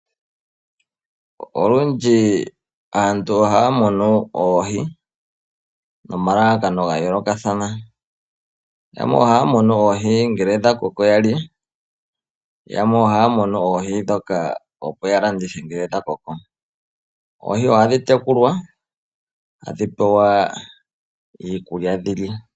Olundji aantu ohaya munu oohi nomalalakano gayoolokathana, yamwe ohaya munu oohi ngele dhakoko yalye yamwe ohaya munu oohi dhoka opo yalandithe nge dhakoko. Oohi ohadhi tekulwa hadhi pewa iikulya dhi lye.